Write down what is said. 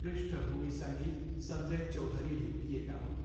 पृष्ठभूमि सङ्गीत सञ्जय चौधरीले दिएका हुन्।